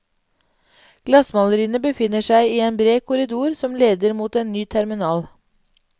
Glassmaleriene befinner seg i en bred korridor som leder mot en ny terminal.